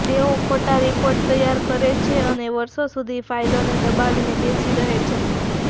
તેઓ ખોટા રિપોર્ટ તૈયાર કરે છે અને વર્ષો સુધી ફાઇલોને દબાવીને બેસી રહે છે